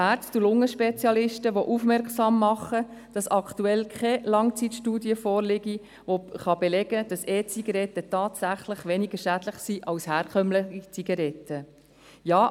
Ärzte und Lungenspezialisten machen darauf aufmerksam, dass aktuell keine Langzeitstudie vorliegt, welche belegen kann, dass E-Zigaretten tatsächlich weniger schädlich sind als herkömmliche Zigaretten.